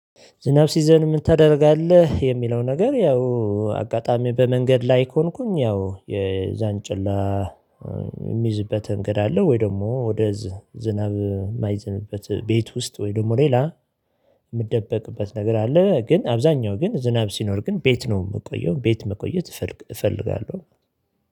ዝናብ ሲዘንብ ምን ታደርጋለህ? የሚለው ነገር ያው አጋጣሚ በመንገድ ላይ ከሆንኩኝ ያው የዛንጭላ የምይዝበት ምንገድ አለ ወይ? ደግሞ ወደ ዝናብ የማይዘንብበት ቤት ውስጥ ወይ ደግሞ ሌላ የምደበቅበት ነገር አለ። ግን አብዛኛው ግን ዝናብ ሲኖር ግን ቤት ነው የምቆየው ቤት መቆየት እፈልጋለሁ።